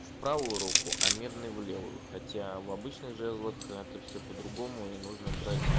в правую руку а медный в левую хотя в обычных жезлах это все по другому и нужно брать